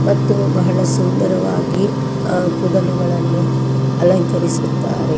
ಮತ್ತು ಬಹಳ ಸುಂದರವಾಗಿ ಆ ಕೂದಲುಗಳನ್ನೂ ಅಲಂಕರಿಸುತ್ತಾರೆ.